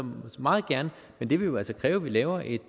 meget gerne men det vil jo altså kræve at vi laver et